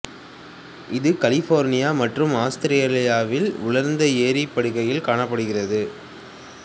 இது கலிபோர்னியா மற்றும் ஆத்திரேலியாவில் உலர்ந்த ஏரி படுகைகளில் காணப்படுகிறது